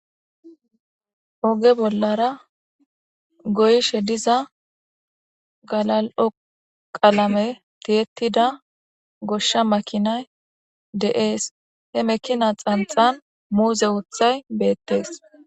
oge bollara goyishe diza galal'o qalame tiyettida goshsha makinay de'ees he mekina xanxan muuze uthay beettees